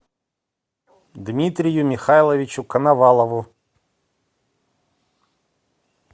дмитрию михайловичу коновалову